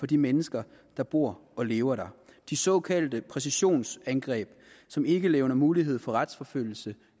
de mennesker der bor og lever der de såkaldte præcisionsangreb som ikke levner mulighed for retsforfølgelse